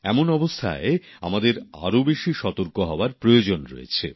এমন অবস্থায় আমাদের আরও বেশি সতর্ক হওয়ার প্রয়োজন রয়েছে